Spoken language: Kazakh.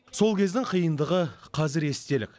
сол кездің қиындығы қазір естелік